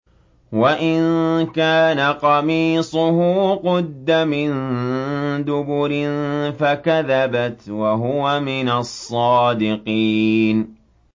وَإِن كَانَ قَمِيصُهُ قُدَّ مِن دُبُرٍ فَكَذَبَتْ وَهُوَ مِنَ الصَّادِقِينَ